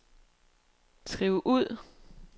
skriv ud